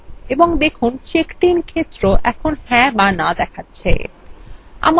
এবং দেখুন checkedin ক্ষেত্র যা হ্যাঁ অথবা no দেখাচ্ছে